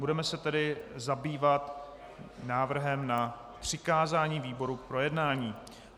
Budeme se tedy zabývat návrhem na přikázání výboru k projednání.